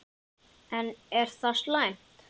En er það slæmt?